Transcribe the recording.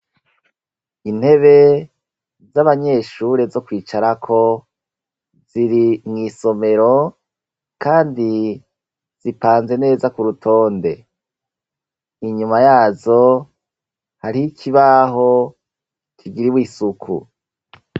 Intebe z'abanyeshure zo kwicarako ziri mw'isomero, kandi zipanze neza ku rutonde inyuma yazo hari ikibaho kigira ibo isuku.